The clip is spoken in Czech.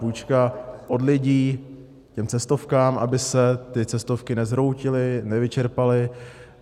Půjčka od lidí těm cestovkám, aby se ty cestovky nezhroutily, nevyčerpaly.